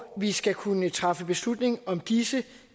vi skal kunne træffe beslutning om disse